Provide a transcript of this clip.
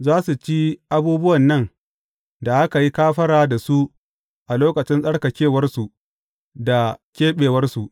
Za su ci abubuwan nan da aka yi kafara da su a lokacin tsarkakewarsu da keɓewarsu.